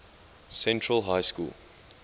central high school